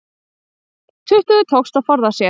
Tuttugu tókst að forða sér